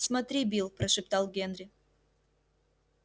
смотри билл прошептал генри